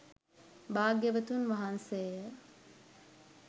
භාග්‍යවතුන් වහන්සේය.